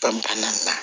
Ka ban na